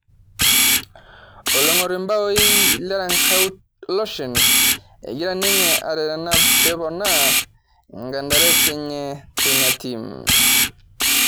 Olong'or imbaoi lerankau loshen, egira ninye arerena peponaa mkandarasi enye teina tim